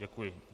Děkuji.